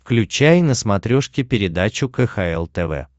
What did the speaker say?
включай на смотрешке передачу кхл тв